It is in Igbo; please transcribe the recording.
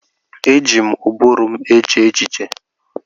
Eji m ụbụrụ m eche echiche.